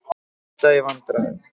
Skúta í vandræðum